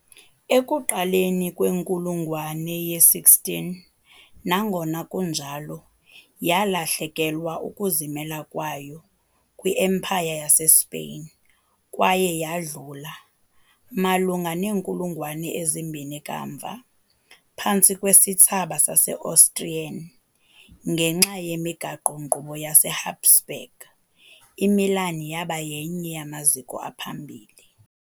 Ekuqaleni kwenkulungwane ye -16, nangona kunjalo, yalahlekelwa ukuzimela kwayo kwi- Empire yaseSpain kwaye yadlula, malunga neenkulungwane ezimbini kamva, phantsi kwesithsaba sase-Austrian- ngenxa yemigaqo-nkqubo yaseHabsburg, iMilan yaba yenye yamaziko aphambili